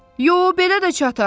Yox, belə də çatar.